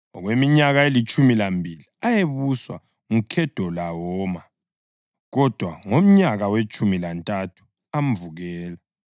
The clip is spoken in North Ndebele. Okweminyaka elitshumi lambili ayebuswa nguKhedolawoma, kodwa ngomnyaka wetshumi lantathu amvukela.